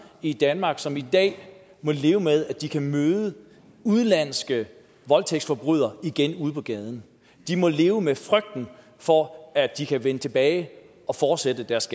i danmark som i dag må leve med at de kan møde udenlandske voldtægtsforbrydere igen ude på gaden de må leve med frygten for at de kan vende tilbage og fortsætte deres